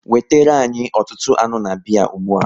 Wetere anyị ọtụtụ anụ na biya ụgbụa!